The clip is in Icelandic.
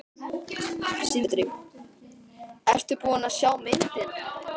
Sindri: Ertu búin að sjá myndina?